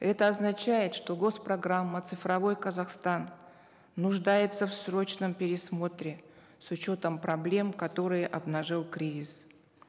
это означает что гос программа цифровой казахстан нуждается в срочном пересмотре с учетом проблем которые обнажил кризис